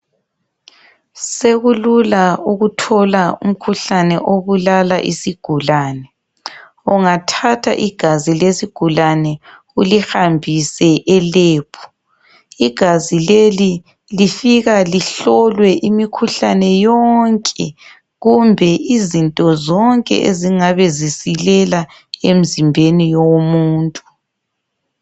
Sekulula ukuthola umkhuhlane obulala isigulane. Ungathatha igazi lesigulane ulihabhise elebhu, igazi leli lifika lihlolwe imihluhlane yonke kumbe izinto zonke ezingabe zisilela emzimbeni yomuntu.